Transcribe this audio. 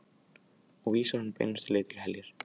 Og vísar honum beinustu leið til heljar.